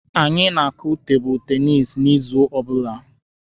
Anyị na-akụ tebụlụ tenisi n'izu ọbụla.